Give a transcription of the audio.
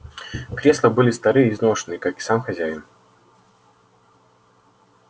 кресла были стары и изношены как и сам хозяин